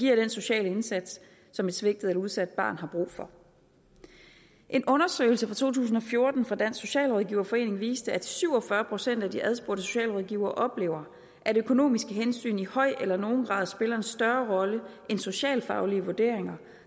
yder den sociale indsats som et svigtet eller udsat barn har brug for en undersøgelse fra to tusind og fjorten fra dansk socialrådgiverforening viste at syv og fyrre procent af de adspurgte socialrådgivere oplever at økonomiske hensyn i høj eller nogen grad spiller en større rolle end socialfaglige vurderinger